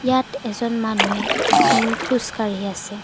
ইয়াত এজন মানুহে উম্ খোজ কাঢ়ি আছে।